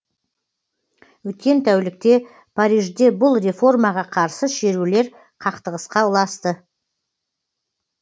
өткен тәулікте парижде бұл реформаға қарсы шерулер қақтығысқа ұласты